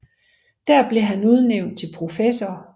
Der blev han udnævnt til professor